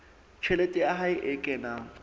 tjhelete ya hae e kenang